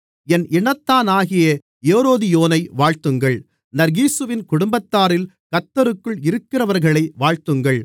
என் இனத்தானாகிய ஏரோதியோனை வாழ்த்துங்கள் நர்கீசுவின் குடும்பத்தாரில் கர்த்தருக்குள் இருக்கிறவர்களை வாழ்த்துங்கள்